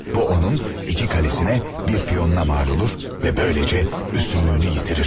Bu onun iki qalesinə bir piyona mal olur və beləcə üstünlüyünü yitirir.